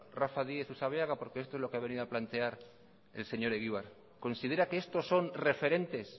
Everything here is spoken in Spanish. rafa díez usabiaga porque esto es lo que ha venido a plantear el señor egibar considera qué estos son referentes